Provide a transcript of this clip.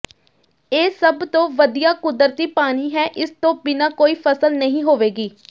ਇਹ ਸਭ ਤੋਂ ਵਧੀਆ ਕੁਦਰਤੀ ਪਾਣੀ ਹੈ ਇਸ ਤੋਂ ਬਿਨਾਂ ਕੋਈ ਫ਼ਸਲ ਨਹੀਂ ਹੋਵੇਗੀ